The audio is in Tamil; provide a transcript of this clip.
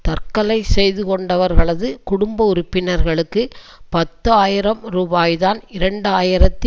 தற்கொலை செய்து கொண்டவர்களது குடும்ப உறுப்பினர்களுக்கு பத்து ஆயிரம் ரூபாய்தான் இரண்டு ஆயிரத்தி